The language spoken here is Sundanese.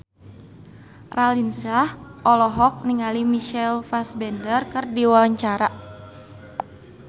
Raline Shah olohok ningali Michael Fassbender keur diwawancara